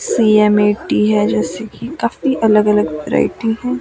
CM एटी हैं जैसे की काफी अलग अलग वैरायटी हैं।